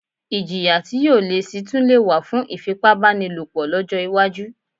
Iljìyà tí yóò le síi tún lè wà fún ìfipá bánilòpọ̀ lọ́jọ́ iwájú